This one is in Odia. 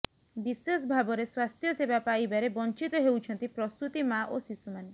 ବିଶେଷ ଭାବରେ ସ୍ୱାସ୍ଥ୍ୟସେବା ପାଇବାରେ ବଂଚିତ ହେଉଛନ୍ତି ପ୍ରସୂତି ମା ଓ ଶିଶୁମାନେ